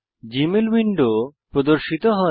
Gmail window প্রদর্শিত হয়